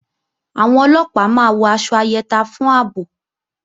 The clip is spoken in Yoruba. Àwọn Ọlọ́pàá máa wọ aṣọ ayẹta fún ààbò